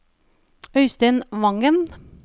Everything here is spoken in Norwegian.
Øistein Wangen